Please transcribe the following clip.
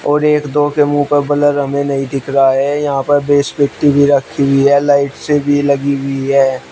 और एक दो के मुंह पर ब्लर हमें नहीं दिख रहा है यहां पर बेस पेटी भी रखी हुई है लाइट से भी लगी हुई है।